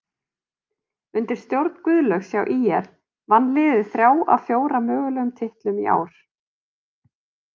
Undir stjórn Guðlaugs hjá ÍR vann liðið þrjá af fjóra mögulegum titlum í ár.